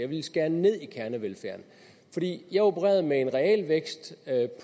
ville skære ned i kernevelfærden fordi jeg opererede med en realvækst